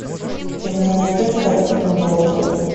ты мне найдешь картину борджиа